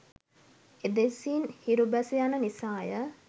එදෙසින් හිරු බැස යන නිසා ය.